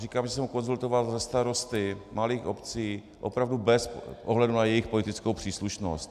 Říkám, že jsem ho konzultoval se starosty malých obcí opravdu bez ohledu na jejich politickou příslušnost.